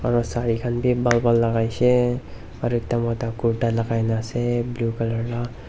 aru sari khan te ban ban lagai se aru ekta moto kurta lagai kina ase blue colour la--